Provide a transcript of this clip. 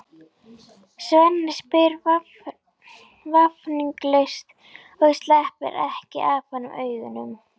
Svenni spyr vafningalaust og sleppir ekki af honum augunum.